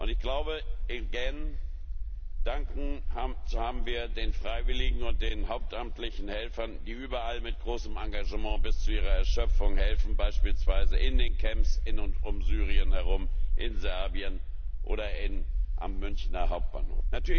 Ich glaube, zu danken haben wir den Freiwilligen und den hauptamtlichen Helfern, die überall mit großem Engagement bis zur Erschöpfung helfen, beispielsweise in den Camps in und um Syrien herum, in Serbien oder am Münchner Hauptbahnhof.